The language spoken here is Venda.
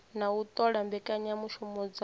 na u ṱola mbekanyamushumo dza